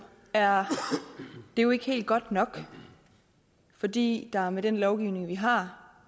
er det jo ikke helt godt nok fordi der med den lovgivning vi har